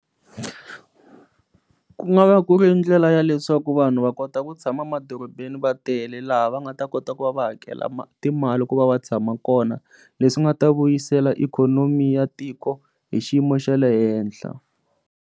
Ku nga va ku ri ndlela ya leswaku vanhu va kota ku tshama emadorobeni va tele laha va nga ta kota ku va va hakela timali ku va va tshama kona leswi nga ta vuyisela ikhonomi ya tiko hi xiyimo xa le henhla.